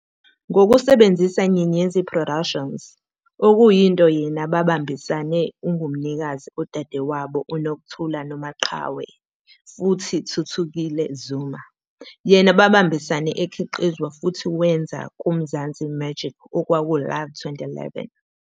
Ngokusebenzisa Nyenyedzi Productions, okuyinto yena babambisane ungumnikazi odadewabo uNokuthula Nomaqhawe futhi Thuthukile Zuma, yena babambisane ekhiqizwa futhi wenza kuMzansi Magic 's "Okwawo Life," 2011